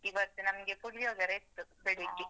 ಇವತ್ತು ನಮ್ಗೆ ಪುಳಿಯೊಗರೆ ಇತ್ತು ಬೆಳಿಗ್ಗೆ.